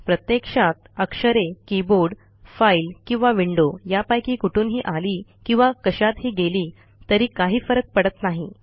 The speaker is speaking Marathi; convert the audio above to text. प्रत्यक्षात अक्षरे कीबोर्ड फाईल किंवा विंडो यापैकी कुठूनही आली किंवा कशातही गेली तरी काही फरक पडत नाही